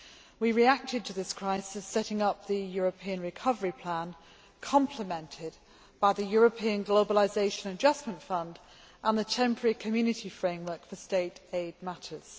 We reacted to this crisis by setting up the European Recovery Plan complemented by the European Globalisation Adjustment Fund and the Temporary Community framework for State aid matters.